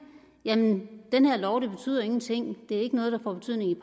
jamen den her lov betyder ingenting det er ikke noget der får betydning i